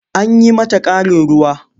An yi mata ƙarin ruwa.